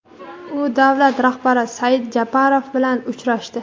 u davlat rahbari Sadir Japarov bilan uchrashdi.